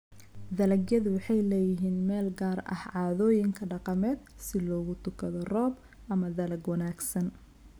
Dalagyadu waxay leeyihiin meel gaar ah caadooyinka dhaqameed si loogu tukado roob ama dalag wanaagsan.